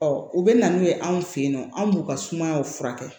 Ɔ u bɛ na n'u ye anw fɛ yen nɔ an b'u ka sumayaw furakɛ